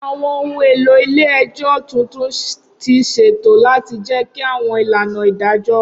Awọn ohun elo ile-ẹjọ tuntun ti ṣeto lati jẹki awọn ilana idajọ.